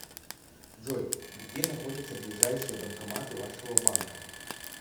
джой где находятся ближайшие банкоматы вашего банка